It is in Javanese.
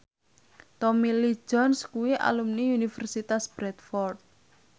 Tommy Lee Jones kuwi alumni Universitas Bradford